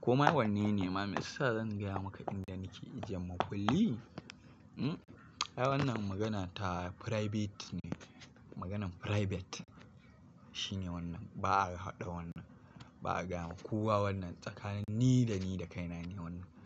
Koma wanne ne ma, me yasa zan gaya maka inda nake ajiyan makulli? Wannan magana ta private ne. Maganen private shine wannan. Ba'a haɗa wannan, ba'a gaya wa kowa wannan. Tsakanin ni da ni da kaina ne wannan.